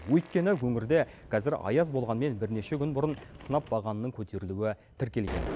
өйткені өңірде қазір аяз болғанмен бірнеше күн бұрын сынап бағанының көтерілуі тіркелген